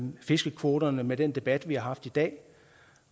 fiskekvoterne med den debat vi har haft i dag